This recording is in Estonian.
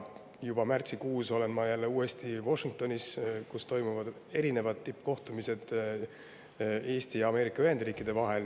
Juba märtsikuus olen ma uuesti Washingtonis, kus toimuvad erinevad tippkohtumised Eesti ja Ameerika Ühendriikide vahel.